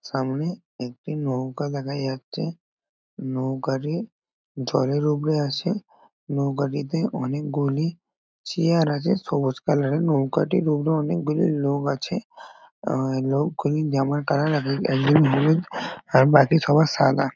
সামনে একটি নৌকা দেখা যাচ্ছে। নৌকাটি জলের ওপরে আছে। নৌকাটিতে অনেকগুলি চেয়ার আছে সবুজ কালার -এর নৌকাটির উবরে অনেকগুলি লোক আছে। আহ লোকগুলির জামার কালার এক এক একজন হলুদ আর বাকি সবার সাদা।